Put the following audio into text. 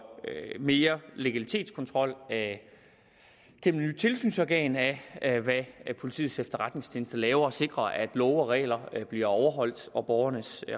mere legalitetskontrol af det nye tilsynsorgan af hvad politiets efterretningstjeneste laver sikrer at love og regler bliver overholdt og borgernes